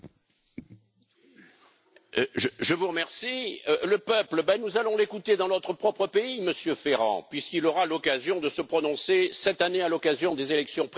Le peuple, nous allons l'écouter dans notre propre pays, Monsieur Ferrand, puisqu'il aura l'occasion de se prononcer cette année, à l'occasion des élections présidentielles et des élections législatives.